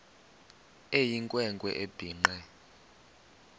eyinkwe nkwe ebhinqe